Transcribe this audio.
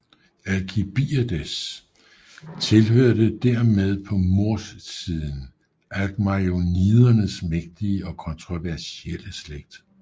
Alkibiades tilhørte dermed på morssiden alkmaionidernes mægtige og kontroversielle slægt